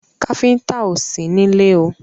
Káfíńńtà ò sí nílé o.